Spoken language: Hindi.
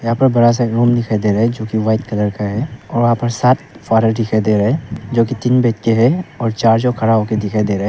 यहां पर बड़ा सा एक रूम दिखाई दे रहा है जो कि व्हाइट कलर का है और वहां पर सात फादर हैं जो कि तीन बैठे हैं और चार जोकि खड़ा होके दिखाई दे रहे हैं।